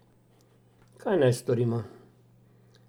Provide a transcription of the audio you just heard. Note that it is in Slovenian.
Kaj naj storimo?